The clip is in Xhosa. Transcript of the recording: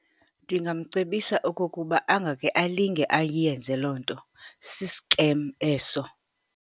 Ndingamcebisa okokuba angeke alinge ayenze loo nto, sisikem eso.